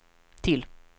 till